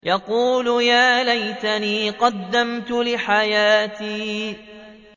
يَقُولُ يَا لَيْتَنِي قَدَّمْتُ لِحَيَاتِي